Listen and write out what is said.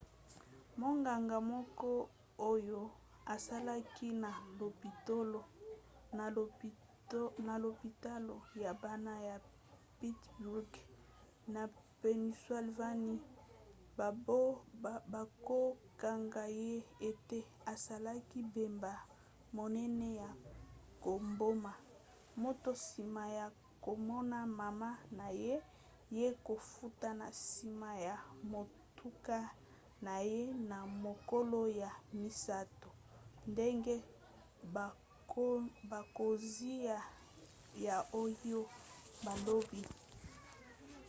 monganga moko oyo asalaki na lopitalo ya bana ya pittsburgh na pennsylvanie bakokanga ye ete asalaki mbeba monene ya koboma moto nsima ya komona mama na ye ya kokufa na nsima ya motuka na ye na mokolo ya misato ndenge bakonzi ya ohio balobi